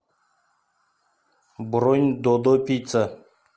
бронь додо пицца